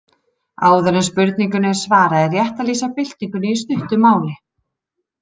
Áður en spurningunni er svarað er rétt að lýsa byltingunni í stuttu máli.